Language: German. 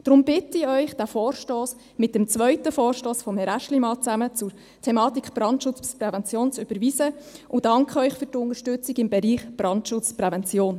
Deshalb bitte ich Sie, diesen Vorstoss sowie den Vorstoss von Herrn Aeschlimann zur Thematik des Brandschutzes und der Prävention zu überweisen, und danke Ihnen für die Unterstützung im Bereich Brandschutz und Prävention.